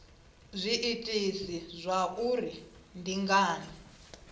zwiitisi zwa uri ndi ngani